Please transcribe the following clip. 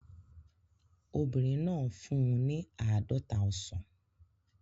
Obìnrin náà fún un ní àádọ́ta ọsàn